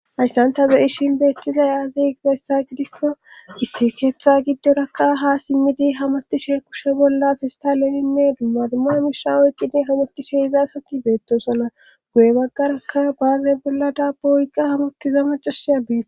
Hayssanta beyishin beettizay aaziy egizaysta gidikko issi keetha giddorakka ha simmidi hamatishe kushe bolla fistaleninne dumma dumma misha oyqqidi hamatishe izasakki beettosona goye baggarakka baaze bolla daabba oyqqa hamottiza macasiya biir.